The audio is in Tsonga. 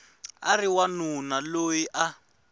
a ri wanuna loyi a